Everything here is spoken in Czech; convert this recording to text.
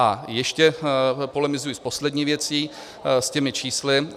A ještě polemizuji s poslední věcí, s těmi čísly.